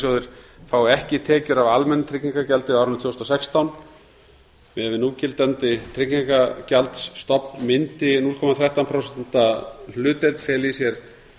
starfsendurhæfingarsjóðir fái ekki tekjur af almennu tryggingagjaldi á árinu tvö þúsund og sextán miðað við núgildandi tryggingagjaldsstofn mundi núll komma þrettán prósenta hlutdeild fela í sér